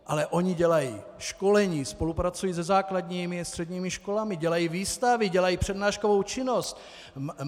Ale oni dělají školení, spolupracují se základními a středními školami, dělají výstavy, dělají přednáškovou činnost.